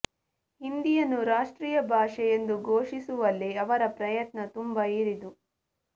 ಹಿಂದಿಯನ್ನು ರಾಷ್ಟ್ರೀಯ ಭಾಷೆ ಎಂದು ಘೋಷಿಸುವಲ್ಲಿ ಅವರ ಪ್ರಯತ್ನ ತುಂಬ ಹಿರಿದು